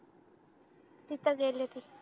तिथं गेले ती